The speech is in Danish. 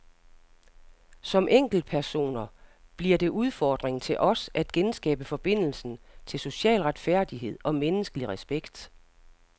Som enkeltpersoner bliver det udfordringen til os at genskabe forbindelsen til social retfærdighed og menneskelig respekt.